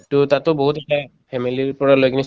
to তাতেও বহুত এটা family ৰ পৰা লৈ কিনে